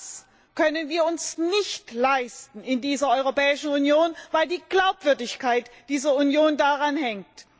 Und das können wir uns nicht leisten in dieser Europäischen Union, weil die Glaubwürdigkeit dieser Union daran hängt.